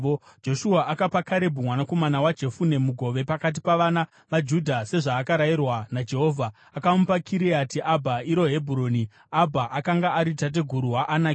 Joshua akapa Karebhu mwanakomana weJefune mugove pakati pavana vaJudha sezvaakarayirwa naJehovha, akamupa Kiriati Abha, iro Hebhuroni. (Abha akanga ari tateguru waAnaki.)